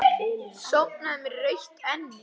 Sofnaði með rautt enni.